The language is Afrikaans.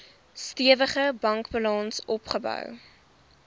stewige bankbalans opgebou